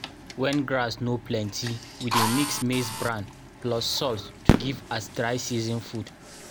when grass no plenty we dey mix maize bran plus salt to give as dry season food.